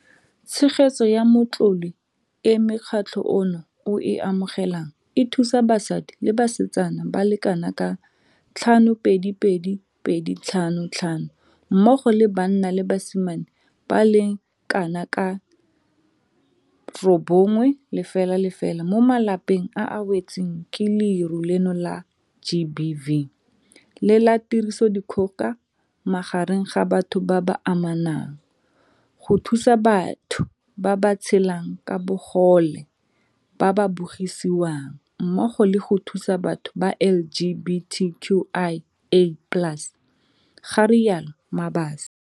Tshegetso ya matlole e mokgatlho ono o e amogelang e thusa basadi le basetsana ba le kanaka 522 255 mmogo le banna le basimane ba le kanaka 900 mo malapeng a a wetsweng ke leru leno la GBV le la tiriso dikgoka magareng ga batho ba ba amanang, go thusa batho ba ba tshelang ka bogole ba ba bogisiwang, mmogo le go thusa batho ba LGBTQIA plus, ga rialo Mabaso.